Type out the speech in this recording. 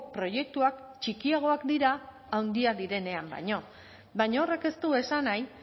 proiektuak txikiagoak dira handiak direnean baino baina horrek ez du esan nahi